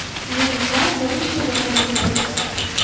Nemislar zaif mudofaada turdi.